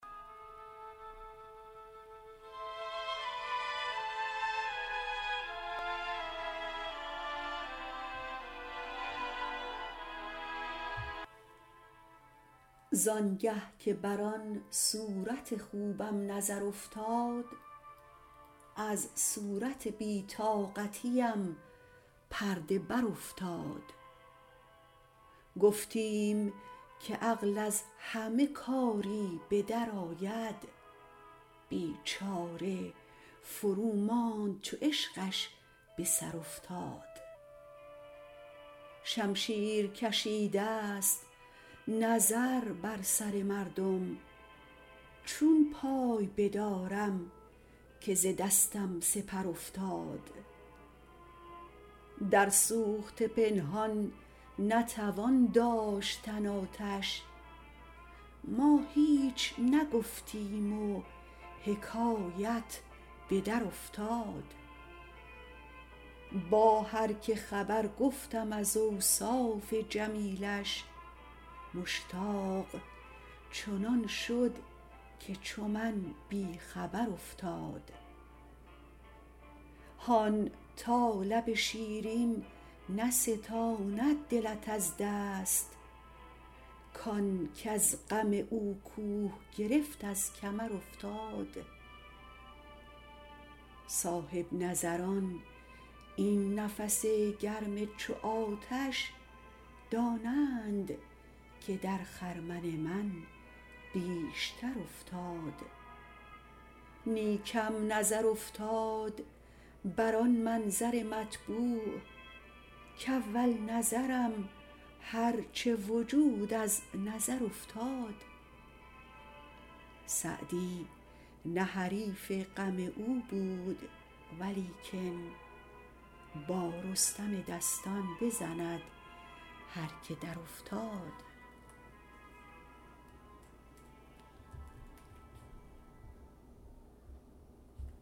زان گه که بر آن صورت خوبم نظر افتاد از صورت بی طاقتیم پرده برافتاد گفتیم که عقل از همه کاری به درآید بیچاره فروماند چو عشقش به سر افتاد شمشیر کشیدست نظر بر سر مردم چون پای بدارم که ز دستم سپر افتاد در سوخته پنهان نتوان داشتن آتش ما هیچ نگفتیم و حکایت به درافتاد با هر که خبر گفتم از اوصاف جمیلش مشتاق چنان شد که چو من بی خبر افتاد هان تا لب شیرین نستاند دلت از دست کان کز غم او کوه گرفت از کمر افتاد صاحب نظران این نفس گرم چو آتش دانند که در خرمن من بیشتر افتاد نیکم نظر افتاد بر آن منظر مطبوع کاول نظرم هر چه وجود از نظر افتاد سعدی نه حریف غم او بود ولیکن با رستم دستان بزند هر که درافتاد